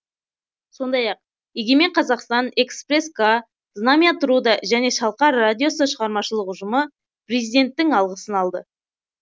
сондай ақ егемен қазақстан экспресс к знамя труда және шалқар радиосы шығармашылық ұжымы президенттің алғысын алды